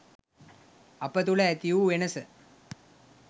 අප තුළ ඇති වූ වෙනස